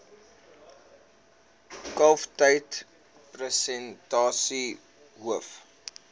kalftyd persentasie hoof